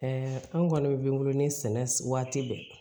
an kɔni bɛ min wolo ni sɛnɛ waati bɛ